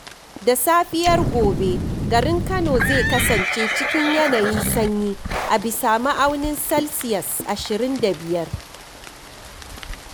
Da safiyar gobe garin Kano zai kasance cikin yanayin sanyi a bisa ma'aunin salsiyas ashirin da biyar.